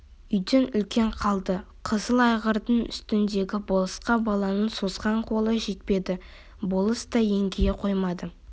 үйдей үлкен қалды қызыл айғырдың үстіндегі болысқа баланың созған қолы жетпеді болыс та еңкейе қоймады